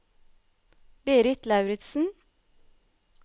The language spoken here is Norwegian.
Berit Lauritsen